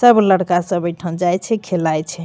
सब लड़का सब ऐठा जाय छै खेलाय छै।